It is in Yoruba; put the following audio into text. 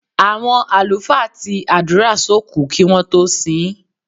Àwọn àlùfáà ti àdúrà sókùú kí wọ́n tó sin ín.